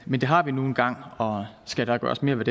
men det har vi nu en gang og skal der gøres mere